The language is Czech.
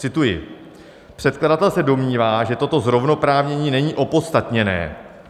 Cituji: Předkladatel se domnívá, že toto zrovnoprávnění není opodstatněné.